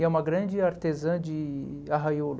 E é uma grande artesã de de arraiolo.